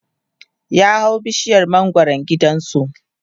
ya hau bishiyar mangwaran gidansu